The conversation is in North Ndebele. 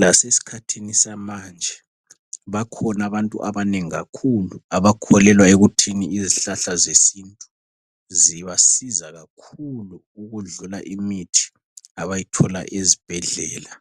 Lasesikhathini samanje bakhona abantu abanengi kakhulu abakholelwa ekuthini izihlahla zesintu zibasiza kakhulu ukudlula imithi abayithola ezibhedlela